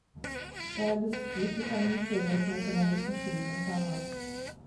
салют если комиссия за снятие наличных через банкомат